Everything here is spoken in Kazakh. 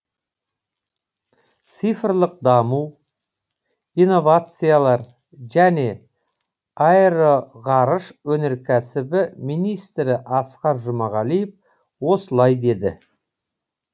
цифрлық даму инновациялар және аэроғарыш өнеркәсібі министрі асқар жұмағалиев осылай деді